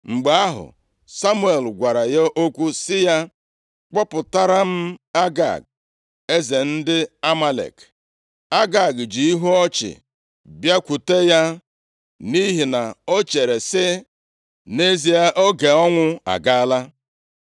Mgbe ahụ, Samuel gwara ya okwu sị ya, “Kpọpụtara m Agag, eze ndị Amalek.” Agag ji ihu ọchị bịakwute ya, nʼihi na o chere sị, “Nʼezie oge ọnwụ agaala.”